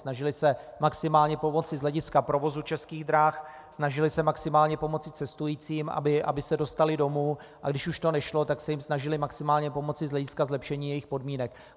Snažili se maximálně pomoci z hlediska provozu Českých drah, snažili se maximálně pomoci cestujícím, aby se dostali domů, a když už to nešlo, tak se jim snažili maximálně pomoci z hlediska zlepšení jejich podmínek.